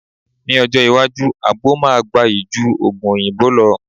Ní ọjọ́ iwájú, àgbo máa gbayì ju Ògùn òyìnbó lọ